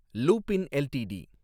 Lupin LTD